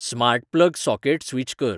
smart plug socket switch कर